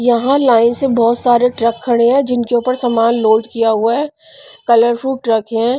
यहां लाइन से बहुत सारे ट्रक खड़े हैं जिनके ऊपर सामान लोड किया हुआ है कलर फ्रूट ट्रक है.